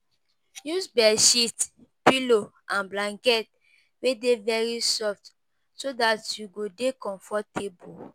Use bedsheet, pillow and blanket wey dey very soft so dat you go dey comfortable